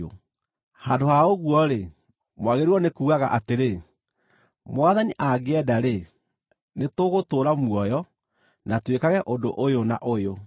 Handũ ha ũguo-rĩ, mwagĩrĩirwo nĩ kugaga atĩrĩ, “Mwathani angĩenda-rĩ, nĩ tũgũtũũra muoyo na twĩkage ũndũ ũyũ na ũyũ.”